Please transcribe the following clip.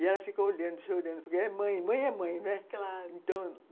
E ela fica olhando, chorando, porque é mãe, mãe é mãe, né? Claro!